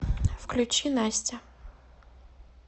включи настя